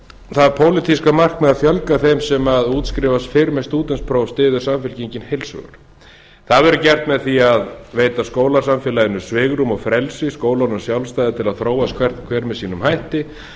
það pólitíska markmið að fjölga þeim sem útskrifast fyrr með stúdentspróf styður samfylkingin heils hugar það verður gert með því að veita skólasamfélaginu svigrúm og frelsi skólunum sjálfstæði til að þróast hver með sínum hætti